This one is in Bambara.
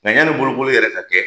mɛ yani bolokoli yɛrɛ ka kɛ